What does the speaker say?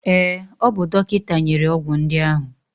Ee, o bu dọkịta nyere ọgwụ ndị ahụ.